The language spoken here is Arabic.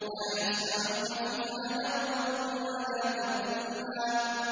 لَا يَسْمَعُونَ فِيهَا لَغْوًا وَلَا تَأْثِيمًا